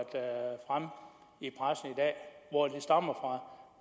om hvor de stammer